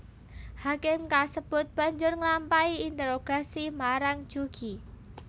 Hakim kasebut banjur nglampahi interogasi marang Jugi